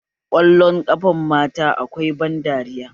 Ƙwallon ƙafan matan akwai ban dariya